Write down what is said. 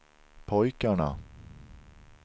pojkarna